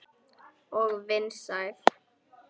Og vinsæl.